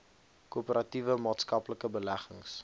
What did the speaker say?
korporatiewe maatskaplike beleggings